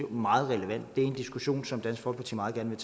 meget relevant og det er en diskussion som dansk folkeparti meget gerne